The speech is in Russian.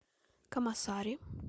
камасари